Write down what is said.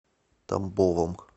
тамбовом